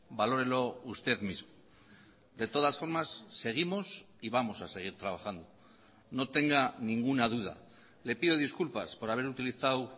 valórelo usted mismo de todas formas seguimos y vamos a seguir trabajando no tenga ninguna duda le pido disculpas por haber utilizado